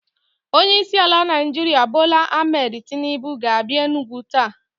Onye isi ala Naijiria Bola Ahmed Tinubu ga a bia Enugwu taa